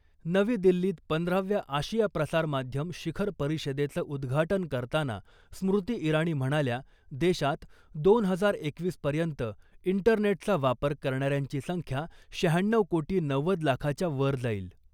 नवी दिल्लीत पंधराव्या आशिया प्रसार माध्यम शिखर परिषदेचं उद्घाटन करताना स्मृती इराणी म्हणाल्या , देशात , दोन हजार एकवीस पर्यंत , इंटरनेटचा वापर करणाऱ्यांची संख्या शहाण्णऊ कोटी नव्वद लाखाच्या वर जाईल .